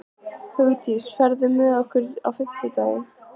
Hugdís, ferð þú með okkur á fimmtudaginn?